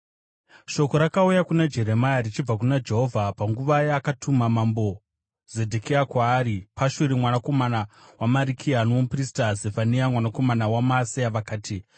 Shoko rakauya kuna Jeremia richibva kuna Jehovha panguva yakatuma mambo Zedhekia kwaari Pashuri mwanakomana waMarikiya, nomuprista Zefania mwanakomana waMaaseya. Vakati,